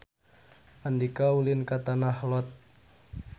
Andika ulin ka Tanah Lot